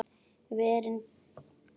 Verin beri að vernda.